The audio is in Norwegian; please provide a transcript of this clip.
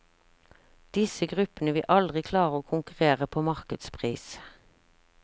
Disse gruppene vil aldri klare å konkurrere på markedspris.